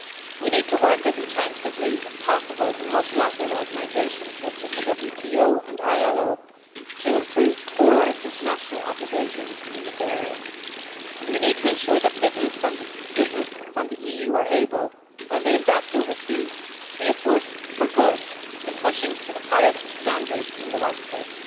We need to work as intensively as possible in multilateral organisations such as the WTO and ILO to improve core international obligations in this area, and we need to ensure that businesses from the EU are able, when they invest overseas, to be a force for good in pushing for the highest standards in the workplace.